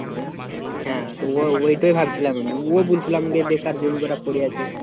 হ্যাঁ, তো ওই ওইটাই ভাবছিলাম আমি ও ও বলছিল আমাকে বেকার জমি কটা পড়ে আছে